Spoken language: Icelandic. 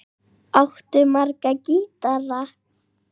Áttu marga gítara?